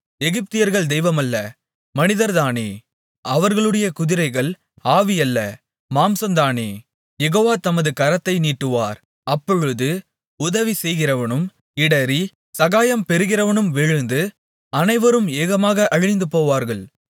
எகிப்தியர்கள் தெய்வம் அல்ல மனிதர்தானே அவர்களுடைய குதிரைகள் ஆவியல்ல மாம்சந்தானே யெகோவா தமது கரத்தை நீட்டுவார் அப்பொழுது உதவி செய்கிறவனும் இடறி சகாயம் பெறுகிறவனும் விழுந்து அனைவரும் ஏகமாக அழிந்துபோவார்கள்